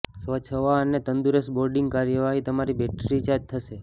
સ્વચ્છ હવા અને તંદુરસ્ત બોર્ડિંગ કાર્યવાહી તમારી બેટરી રિચાર્જ થશે